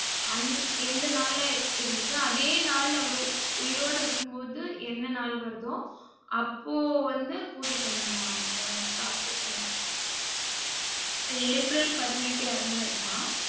அந் எந்த நாள்ல இருந்துச்சோ, அதே நாள்ல அவர் உயிரோட இருக்கும் போது என்ன நாள் வருதோ அப்போ வந்து பூஜ பண்ணனுமமாம், அவங்க சாஸ்துரத்துல. இப்ப ஏப்ரல் பதினெட்டு இறந்தாருனா,